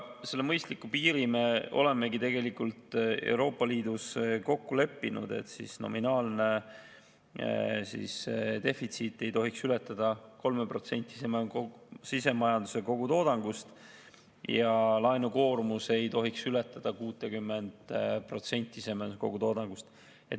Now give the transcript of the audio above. Selle mõistliku piiri me olemegi Euroopa Liidus kokku leppinud, et nominaalne defitsiit ei tohiks ületada 3% sisemajanduse kogutoodangust ja laenukoormus ei tohiks ületada 60% sisemajanduse kogutoodangust.